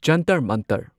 Jantar Mantar